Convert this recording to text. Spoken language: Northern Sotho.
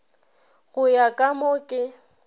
go ya ka mo ke